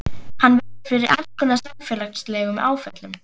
Hann verður fyrir alls konar félagslegum áföllum.